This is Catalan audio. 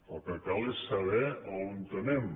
el que cal és saber on anem